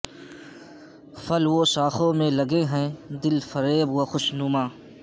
پھل وہ شاخوں میں لگے ہیں دل فریب و خوشنما